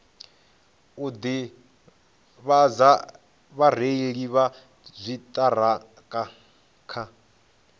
u ḓivhadza vhareili vha dziṱhirakha